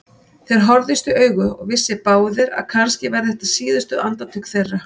Þeir horfðust í augu og vissu báðir að kannski væru þetta síðustu andartök þeirra.